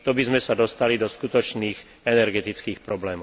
To by sme sa dostali do skutočných energetických problémov.